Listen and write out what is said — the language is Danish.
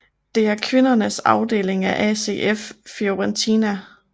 Det er kvindernes afdeling af ACF Fiorentina